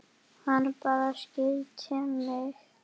Hann bara skildi mig.